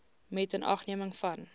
met inagneming van